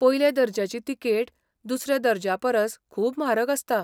पयल्या दर्ज्याची तिकेट दुसऱ्या दर्ज्यापरस खूब म्हारग आसता.